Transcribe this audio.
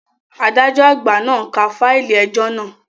Adájọ́ àgbà náà ń ka fáìlì ẹjọ́ naa